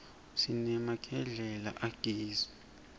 siremagedwla ageri